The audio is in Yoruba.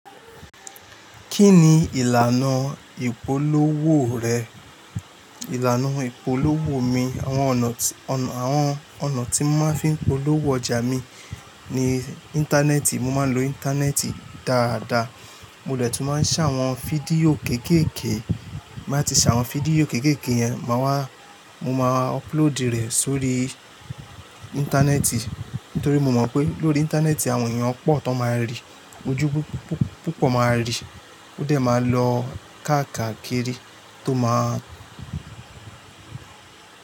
Kí ni ìlànà ìpolówó rẹ? Ìlànà ìpolówó mi, àwọn ọ̀nà tí mo máa ń fi polówó ọjà mi ni Íńtánẹ́ẹ̀tì. Mo máa ń lo Íńtánẹ́ẹ̀tì dáadáa. Mo dè tún máa ń ṣàwọn fídíò kéékèèké. Bí mo bá ti ṣàwọn fídíò kéékèèké yẹn, mo máa ń ọpulóòdù rẹ̀ sórí Íńtánẹ́ẹ̀tì. Nítorí mo mọ̀ pé lórí Íńtánẹ́ẹ̀tì àwọn èèyàn pọ̀ tó máa rí i, ojú púpọ̀ máa rí i. Ó dẹ̀ máa lọ káàkiri tó máa.